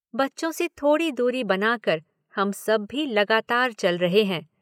बच्चों से थोड़ी दूरी बनाकर हम सब भी लगातार चल रहे हैं।